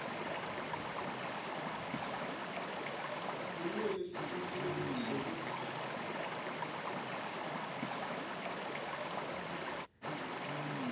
kumele sicinisekise kutsi